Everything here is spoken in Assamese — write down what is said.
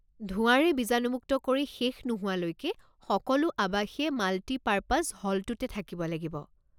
ধোঁৱাৰে বীজানুমুক্ত কৰি শেষ নোহোৱালৈকে সকলো আৱাসীয়ে মাল্টিপাৰ্পাজ হলটোতে থাকিব লাগিব।